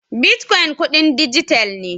Bitcoin kudin dijital ne.